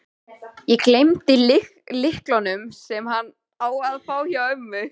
Ég gleymdi lyklunum, sem hann á að fá, hjá ömmu.